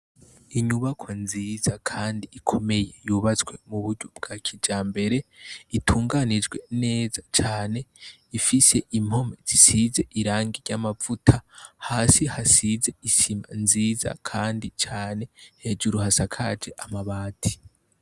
Inyubakwa nziza kandi ikomeye yubatswe mu buryo bwa kijambere itunganijwe neza cane ifise impome zisize irangi ry' amavuta hasi hasize isima nziza kandi cane hejuru hasakaje amabati.